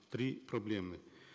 три проблемы